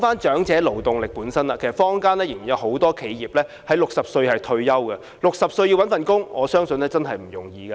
長者勞動力方面，坊間仍然有很多企業的僱員須在60歲退休，他們要在60歲後找工作，我相信並不容易。